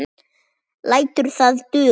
Lætur það duga.